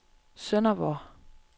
Sønderborg